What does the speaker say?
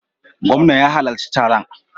Gwamnan ya halarci taron.